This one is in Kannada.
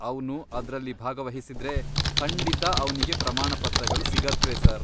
ಅವ್ನು ಅದ್ರಲ್ಲಿ ಭಾಗವಹಿಸಿದ್ರೆ, ಖಂಡಿತಾ ಅವ್ನಿಗೆ ಪ್ರಮಾಣಪತ್ರಗಳು ಸಿಗತ್ವೆ ಸರ್.